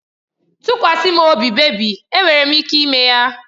Tụkwasa m obi bebị, enwere m ike ime ya.